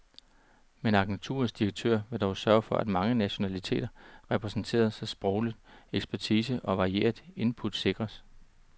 Men agenturets direktør vil dog søge at få mange nationaliteter repræsenteret, så sproglig ekspertise og varieret input sikres.